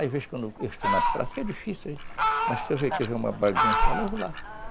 Às vezes, quando eu estou na praça, que é difícil, mas se eu ver uma bagunça, eu vou lá.